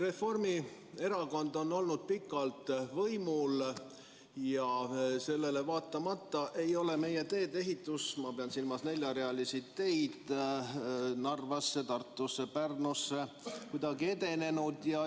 Reformierakond on olnud pikalt võimul ja sellele vaatamata ei ole meie teede ehitus, ma pean silmas neljarealisi teid Narvasse, Tartusse ja Pärnusse, kuidagi edenenud.